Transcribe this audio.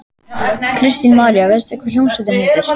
Kristín María: Veistu hvað hljómsveitin heitir?